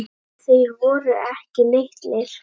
Og þeir voru ekki litlir.